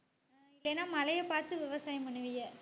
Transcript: ஏன்னா மழையை பார்த்து விவசாயம் பண்ணுவீங்க.